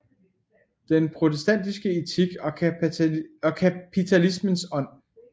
Den protestantiske Etik og Kapitalismens Ånd